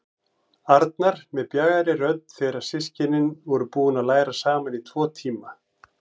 Arnar með bjagaðri rödd þegar systkinin voru búin að læra saman í tæpa tvo tíma.